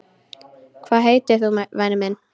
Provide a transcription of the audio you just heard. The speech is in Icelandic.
Hvað heitir þú væni minn?